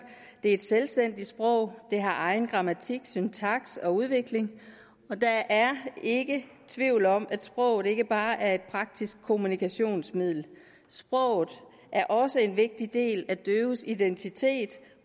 det er et selvstændigt sprog det har egen grammatik syntaks og udvikling og der er ikke tvivl om at sproget ikke bare er et praktisk kommunikationsmiddel sproget er også en vigtig del af døves identitet